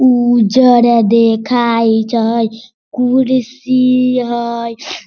उज्जर देखा हई कुर्सी हई।